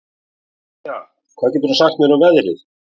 Ýja, hvað geturðu sagt mér um veðrið?